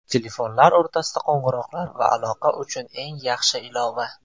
Telefonlar o‘rtasida qo‘ng‘iroqlar va aloqa uchun eng yaxshi ilova.